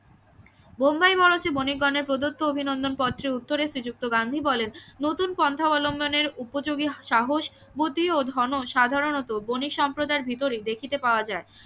বোম্বাই মঞ্চে বণিক গণের প্রদত্ত অভিনন্দন পত্রের উত্তরে শ্রীযুক্ত গান্ধী বলেন নতুন পন্থা অবলম্বনের উপযোগী সাহস বুদ্ধি ও সাধারণত বণিক সম্প্রদায়ের ভিতরেই দেখিতে পাওয়া যায়